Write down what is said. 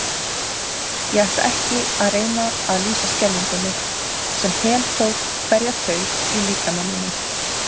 Ég ætla ekki að reyna að lýsa skelfingunni, sem heltók hverja taug í líkama mínum.